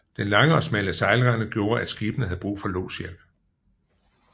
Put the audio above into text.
Den lange og smalle sejlrende gjorde at skibene havde brug for lodshjælp